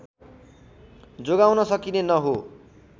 जोगाउन सकिने न हो